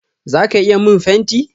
Zaka iya min fenti?